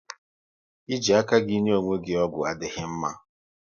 Ị ji aka gị enye onwe gị ọgwụ adịghị mma